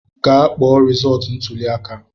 Gaa kpọọ resọọtu ntụli aka!